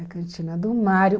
Cantina do Mário.